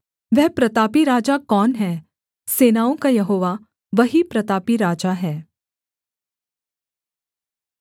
वह प्रतापी राजा कौन है सेनाओं का यहोवा वही प्रतापी राजा है सेला